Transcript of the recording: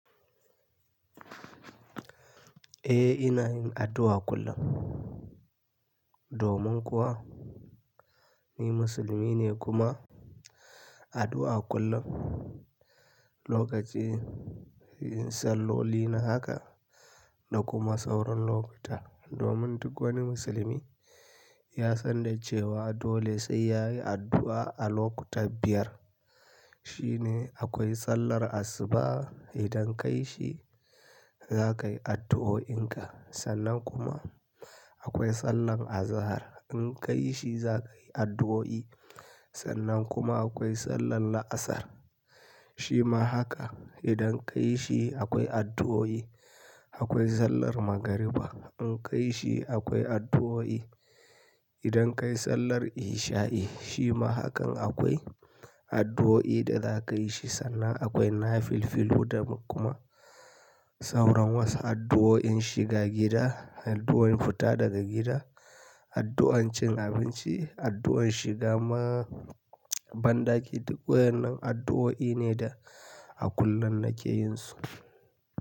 Eh ina yin addu'a kullum. Domin kuwa ni musulmi ne kuma addu'a kullum lokaci yin salloli na haka da kuma sauran lokuta domin duk wani musulmi ya san da cewa dole sai yayi addu'a a lokuta biyar. Shi ne akwai sallar asuba idan ka yi shi za kayi addu'o'in ka, sannan kuma akwai sallan azahar in ka yi shi za kayi addu'o'i, sannan kuma akwai sallan laasar shima haka idan ka yi shi akwai addu'o'i. Akwai sallar magariba in ka yi shi akwai addu'o'i. Idan ka yi sallar isha'i shima hakan akwai addu'o'i da za ka yi shi sannan akwai nafilfilu da kuma sauran wasu addu'o'i shiga gida, addu'o'in fita daga gida, addu'an cin abinci, addu'an shiga ma bandaki duk waɗannan addu'o'i ne da a kullum nake yin su.